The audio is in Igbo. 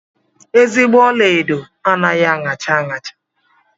Ezigbo ọlaedo anaghị aṅacha aṅacha.